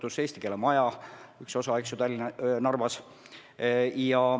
Üks eesti keele maja on nüüd Narvas.